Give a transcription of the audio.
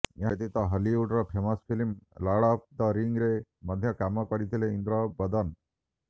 ଏହା ବ୍ୟତୀତ ହଲିଉଡର famous film lord of the ରିଙ୍ଗରେ ମଧ୍ୟ କାମ କରିଥିଲେ ଇନ୍ଦ୍ରବଦନ